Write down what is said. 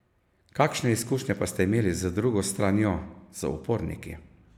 Kakšne izkušnje pa ste imeli z drugo stranjo, z uporniki?